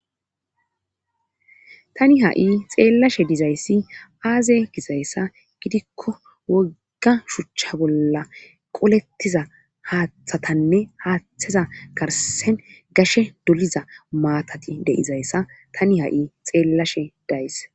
tani ha7i xeellashe dizayssi aaze gizayssa gidikko wogga shuchcha bolla qolettiza haaththatanne haaththeza garsen gashe doliza maatati deizayssa tani ha7i xeellashe days